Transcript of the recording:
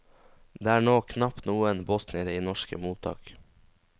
Det er nå knapt noen bosniere i norske mottak.